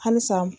Halisa